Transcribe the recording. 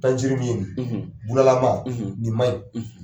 Tanjururi min bulalama nin ma ɲi .